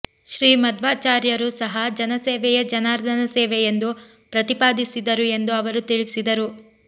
ಶ್ರೀ ಮಧ್ವಾಚಾರ್ಯರೂ ಸಹಾ ಜನಸೇವೆಯೇ ಜನಾರ್ದನ ಸೇವೆ ಎಂದು ಪ್ರತಿಪಾದಿಸಿದರು ಎಂದು ಅವರು ತಿಳಿಸಿದರು